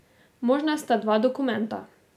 Možna sta dva dokumenta.